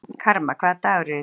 Karma, hvaða dagur er í dag?